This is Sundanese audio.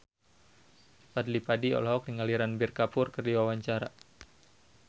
Fadly Padi olohok ningali Ranbir Kapoor keur diwawancara